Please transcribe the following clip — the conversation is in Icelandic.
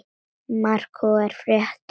Marorku fréttir